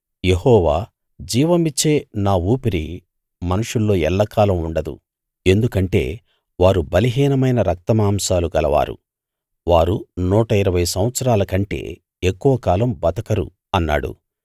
యెహోవా జీవమిచ్చే నా ఊపిరి మనుషుల్లో ఎల్లకాలం ఉండదు ఎందుకంటే వారు బలహీనమైన రక్తమాంసాలు గలవారు వారు నూట ఇరవై సంవత్సరాల కంటే ఎక్కువ కాలం బతకరు అన్నాడు